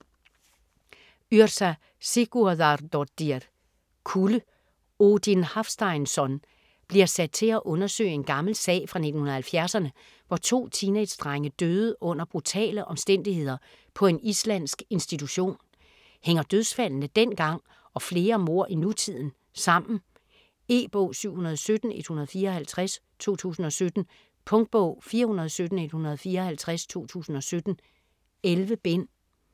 Yrsa Sigurðardóttir: Kulde Odin Hafsteinsson bliver sat til at undersøge en gammel sag fra 1970'erne, hvor to teenagedrenge døde under brutale omstændigheder på en islandsk institution. Hænger dødsfaldene dengang og flere mord i nutiden sammen? E-bog 717154 2017. Punktbog 417154 2017. 11 bind.